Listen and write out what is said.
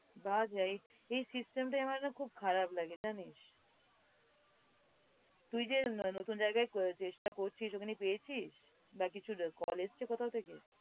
এই system টাই আমার না খুব খারাপ লাগে জানিস? তুই যে নতুন জায়গায় আহ চেষ্টা করছিস ওখানে পেয়েছিস? বা কিছুর call এসছে কোথাও থেকে?